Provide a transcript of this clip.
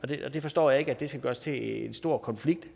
det det forstår jeg ikke skal gøres til en stor konflikt